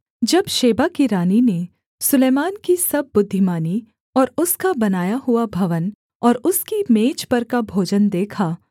जब शेबा की रानी ने सुलैमान की सब बुद्धिमानी और उसका बनाया हुआ भवन और उसकी मेज पर का भोजन देखा